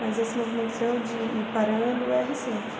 Mas esse movimento seu de ir parando é recente.